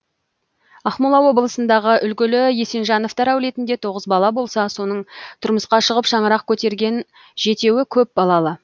ақмола облысындағы үлгілі есенжановтар әулетінде тоғыз бала болса соның тұрмысқа шығып шаңырақ көтерген жетеуі көпбалалы